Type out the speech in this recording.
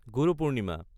Guru Purnima